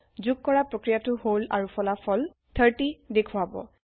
যোগ কৰা প্ৰক্ৰিয়াটো হল আৰু ফলাফল 30 দেখাব